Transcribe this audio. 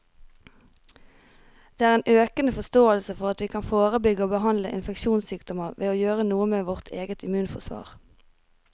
Det er en økende forståelse for at vi kan forebygge og behandle infeksjonssykdommer ved å gjøre noe med vårt eget immunforsvar.